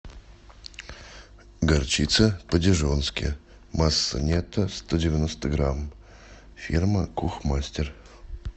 горчица по дижонски масса нетто сто девяносто грамм фирма кухмастер